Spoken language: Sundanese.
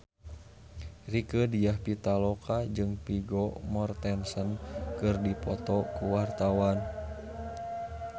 Rieke Diah Pitaloka jeung Vigo Mortensen keur dipoto ku wartawan